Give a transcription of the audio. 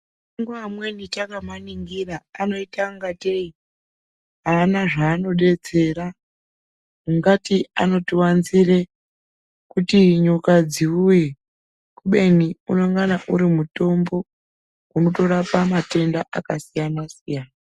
Mashango amweni takaaningira anoite ungatei aana zva anodetsera, ungati anotiwanzire kuti nyoka dziuye kubeni unongana uri mutombo unotorapa matenda akasiya, siyana.